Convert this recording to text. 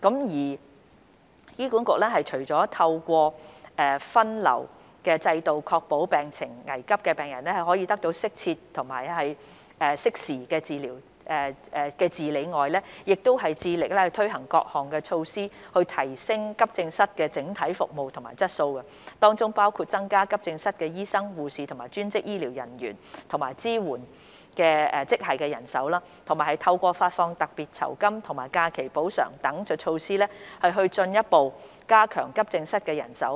二醫管局除了透過分流制度確保病情危急的病人可以得到適時及適切的治理外，亦致力推行各項措施，提升急症室的整體服務質素，當中包括增加急症室醫生、護士、專職醫療人員及支援職系人手，以及透過發放特別酬金和假期補償等措施，進一步加強急症室人手。